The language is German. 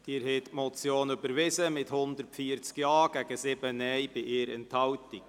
Sie haben diese Motion überwiesen mit 140 Ja- gegen 7 Nein-Stimmen bei 1 Enthaltung.